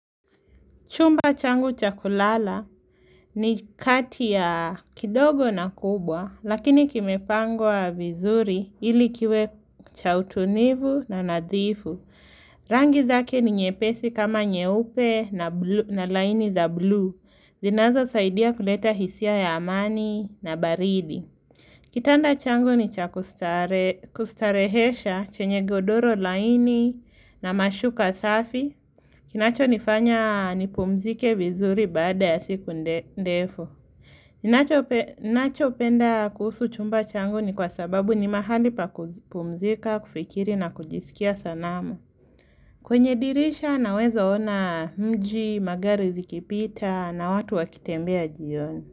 Chumba changu cha kulala ni kati ya kidogo na kubwa, lakini kimepangwa vizuri ili kiwe cha utunivu na nadhifu. Rangi zake ni nyepesi kama nyeupe na blu laini za buluu zinazo saidia kuleta hisia ya amani na baridi. Kitanda changu ni cha kustarehe kustaresha chenye godoro laini na mashuka safi. Kinacho nifanya nipumzike vizuri baada ya siku nde ndefu. Nacho nacho penda kuhusu chumba changu ni kwa sababu ni mahali pa kupumzika, kufikiri na kujisikia sanama. Kwenye dirisha na weza ona mji, magari zikipita na watu wakitembea jioni.